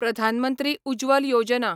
प्रधान मंत्री उज्ज्वल योजना